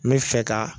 N bɛ fɛ ka